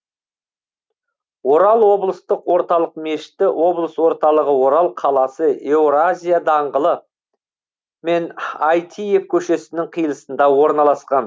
орал облыстық орталық мешіті облыс орталығы орал қаласы еуразия даңғылы мен әйтиев көшесінің қиылысында ораналасқан